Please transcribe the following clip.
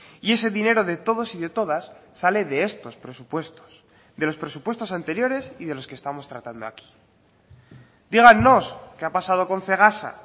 y ese dinero de todos y de todas sale de estos presupuestos de los presupuestos anteriores y de los que estamos tratando aquí dígannos qué ha pasado con cegasa